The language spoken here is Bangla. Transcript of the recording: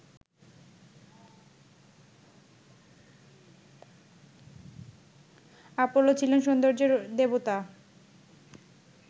আপোলো ছিলেন সৌন্দর্যের দেবতা